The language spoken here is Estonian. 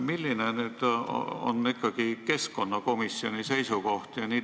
Milline on keskkonnakomisjoni seisukoht?